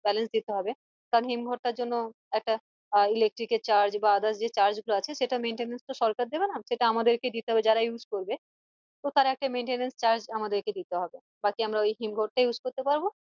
Balance দিতে হবে কারণ হিমঘরটার জন্য একটা আহ electric charge বা others যে গুলো আছে সেটার maintenance তো সরকার দিবে না, সেটা আমাদেরকেই দিতে হবে যারা use করবে তো তার একটা maintenance charge আমাদেরকে দিতে হবে তাতে আমরা হিম ঘরটা use করতে পারবো